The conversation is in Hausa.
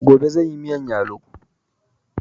Gobe zanyi miyan yalo